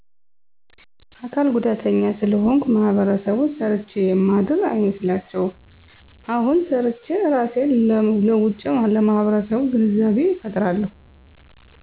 አካል ጉዳተኛ ስለሆንኩ ማህበረሰቡ ሰርቸ የማድር አይመስላቸዉም አሁን ሰርቸ እራሴን ለዉጨለማህበረሰቡ ግንዛቤ ፈጥራለሁ